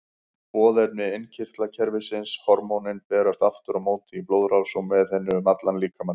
Boðefni innkirtlakerfisins, hormónin, berast aftur á móti í blóðrás og með henni um allan líkamann.